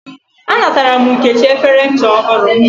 A natara m Nkechi efere ncha ohuru